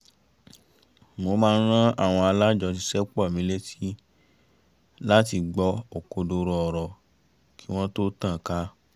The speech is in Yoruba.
mo máa ń ran àwọn alájọṣiṣẹ́pọ̀ mi létí láti gbọ́ òkodoro ọ̀rọ̀ kí wọ́n tó tàn ká